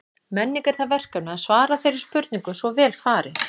Menning er það verkefni að svara þeirri spurningu svo vel fari.